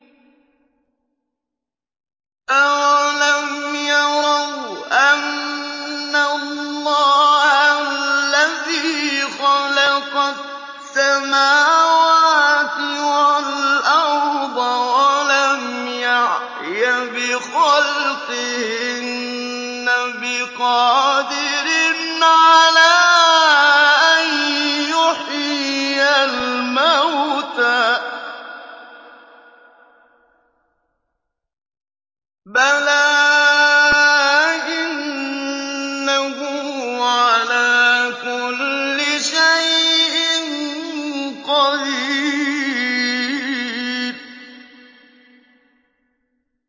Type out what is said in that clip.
أَوَلَمْ يَرَوْا أَنَّ اللَّهَ الَّذِي خَلَقَ السَّمَاوَاتِ وَالْأَرْضَ وَلَمْ يَعْيَ بِخَلْقِهِنَّ بِقَادِرٍ عَلَىٰ أَن يُحْيِيَ الْمَوْتَىٰ ۚ بَلَىٰ إِنَّهُ عَلَىٰ كُلِّ شَيْءٍ قَدِيرٌ